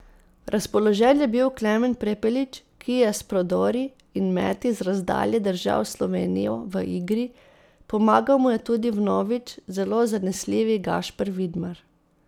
Razpoložen je bil Klemen Prepelić, ki je s prodori in meti z razdalje držal Slovenijo v igri, pomagal mu je tudi vnovič zelo zanesljivi Gašper Vidmar.